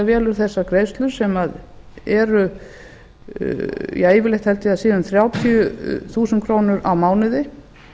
velur þessar greiðslur sem eru ja yfirleitt held ég að þær séu um þrjátíu þúsund krónur á